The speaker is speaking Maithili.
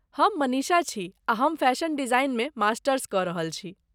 हम मनीषा छी आ हम फैशन डिजाइनमे मास्टर्स कऽ रहल छी।